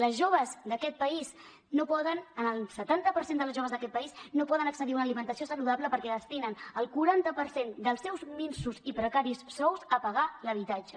les joves d’aquest país no poden el setanta per cent de les joves d’aquest país no poden accedir a una alimentació saludable perquè destinen el quaranta per cent dels seus minsos i precaris sous a pagar l’habitatge